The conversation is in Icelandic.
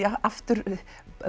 aftur